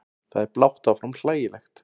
Það er blátt áfram hlægilegt.